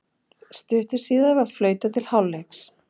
Stuttu síðar var flautað til hálfleiks.